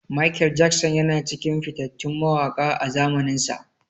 Mikel Jackson yana cikin fitattun mawaƙa a zamaninsa.